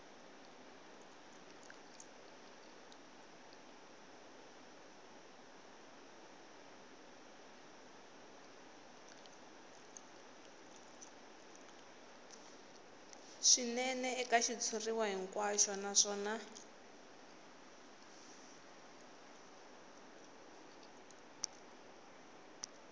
swinene eka xitshuriwa hinkwaxo naswona